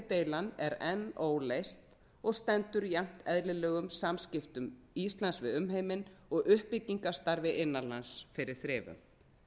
deilan er enn óleyst og stendur jafnt eðlilegum samskiptum íslands við umheiminn og uppbyggingarstarfi innan lands fyrir þrifum